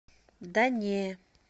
да не